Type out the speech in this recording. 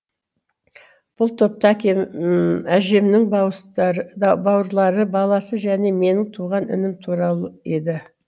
бұл топта әжемнің бауырлары баласы және менің туған інім тұрған еді